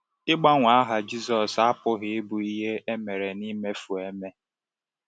Ịgbanwe aha Jisọs apụghị ịbụ ihe e mere n’imefu eme.